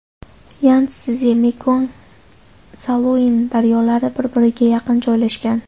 Yantszi, Mekong va Saluin daryolari bir-biriga yaqin joylshgan.